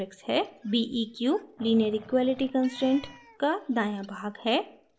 beq : linear equality constraint का दायां भाग है